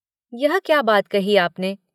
“यह क्या बात कही आपने?